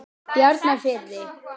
Bjarnarfirði